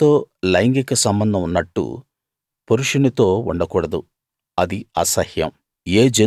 స్త్రీతో లైంగిక సంబంధం ఉన్నట్టు పురుషునితో ఉండకూడదు అది అసహ్యం